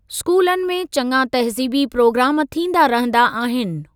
स्कूलनि में चङा तहज़ीबी प्रोग्राम थींदा रहंदा आहिनि।